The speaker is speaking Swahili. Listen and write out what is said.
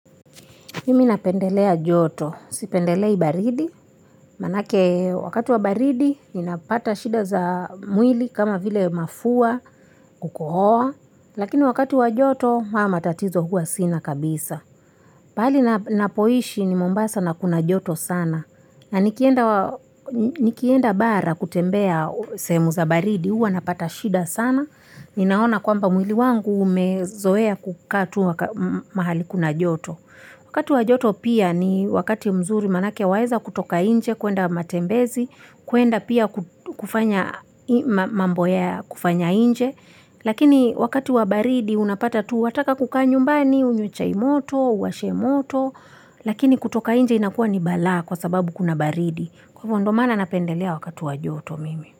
Mi napendelea joto. Sipendelei baridi. Maanake wakati wa baridi ninapata shida za mwili kama vile mafua kukohoa, lakini wakati wa joto haya matatizo huwa sina kabisa. Pahali napoishi ni mombasa na kuna joto sana na nikienda nikienda bara kutembea sehemu za baridi, huwa napata shida sana, ninaona kwamba mwili wangu umezoea kukaa tu mahali kuna joto wakati wa joto pia wakati mzuri maanake waeza kutoka nje kuenda matembezi kuenda pia ku kufanya mambo ya kufanya nje lakini wakati wa baridi unapata tu wataka kukaa nyumbani unywe chai moto uwashe moto kutoka nje hukuwa ni balaa kwa sababu kuna baridi kwa hivo ndo maana napendelea wakati wa joto mimi.